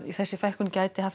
þessi fækkun gæti haft